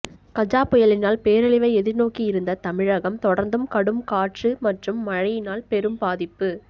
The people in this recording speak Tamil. கஜா புயலினால் பேரழிவை எதிர்நோக்கியிருந்த தமிழகம் தொடர்ந்தும் கடும் காற்று மற்றும் மழையினால் பெரும் ப